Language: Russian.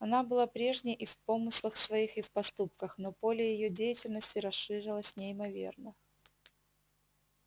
она была прежней и в помыслах своих и в поступках но поле её деятельности расширилось неимоверно